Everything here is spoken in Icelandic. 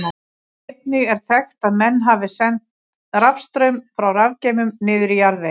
Einnig er þekkt að menn hafi sent rafstraum frá rafgeymum niður í jarðveginn.